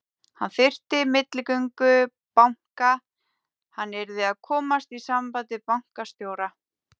Hann þyrfti milligöngu banka, hann yrði að komast í samband við bankastjóra.